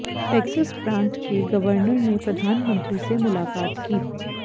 Texas प्रांत के governor ने प्रधानमंत्री से मुलाकात की